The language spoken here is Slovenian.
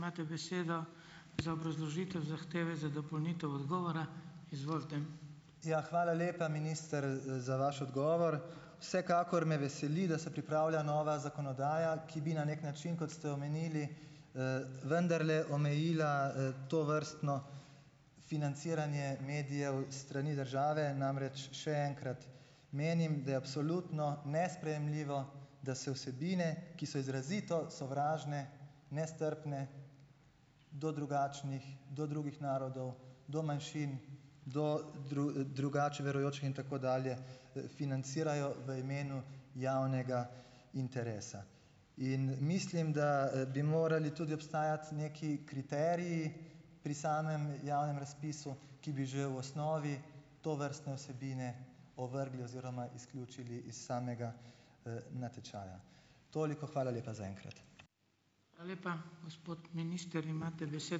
Ja, hvala lepa, minister, za vaš odgovor. Vsekakor me veseli, da se pripravlja nova zakonodaja, ki bi na neki način, kot ste omenili, vendarle omejila, tovrstno financiranje medijev s strani države. Namreč, še enkrat, menim, da je absolutno nesprejemljivo, da se vsebine, ki so izrazito sovražne, nestrpne do drugačnih, do drugih narodov, do manjšin, do drugače verujočih in tako dalje, financirajo v imenu javnega interesa. In mislim, da, bi morali tudi obstajati neki kriteriji pri samem javnem razpisu, ki bi že v osnovi tovrstne vsebine ovrgli oziroma izključili iz samega, natečaja. Toliko. Hvala lepa zaenkrat.